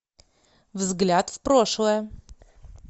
взгляд в прошлое